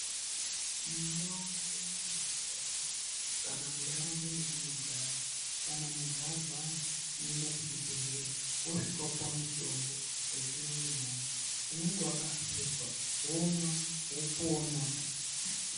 Munda medu umu mumandau kana muntu arwara unoenda kuchibhehlera osvika opuwa mutombo wechimanje-manje unenge wakahluzwa womwa wopona.